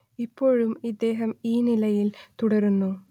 ഇപ്പോഴും ഇദ്ദേഹം ഈ നിലയിൽ തുടരുന്നു